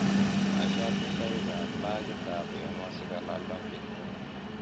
washatundoik ab pagit ab wemo si kolal dongit nyun